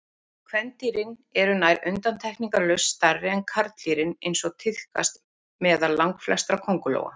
Kvendýrin eru nær undantekningarlaust stærri en karldýrin eins og tíðkast meðal langflestra köngulóa.